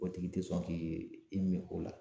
O tigi tɛ sɔn k'i i min o la.